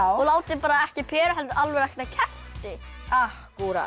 og látið ekki peru heldur kerti akkúrat